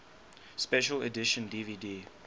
special edition dvd